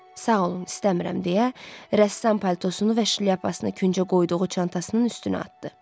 Sağ olun, istəmirəm deyə rəssam paltosunu və şlyapasını küncə qoyduğu çantasının üstünə atdı.